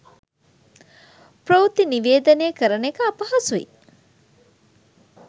ප්‍රවෘත්ති නිවේදනය කරන එක අපහසුයි.